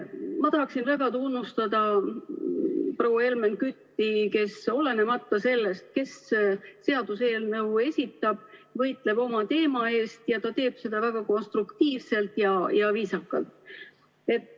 Ma tahaksin väga tunnustada proua Helmen Kütti, kes, olenemata sellest, kes seaduseelnõu esitab, võitleb oma teema eest ja teeb seda väga konstruktiivselt ja viisakalt.